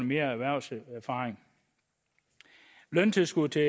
mere erhvervserfaring løntilskud til